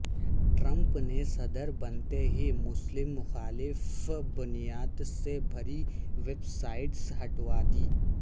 Trump نے صدر بنتے ہی مسلم مخالف بیانات سے بھری ویب سائٹس ہٹوا دیں